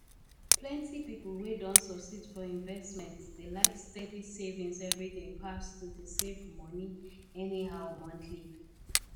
plenty people wey don succeed for investment dey like steady savings every day pass to dey save money anyhow monthly